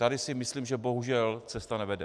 Tady si myslím, že bohužel cesta nevede.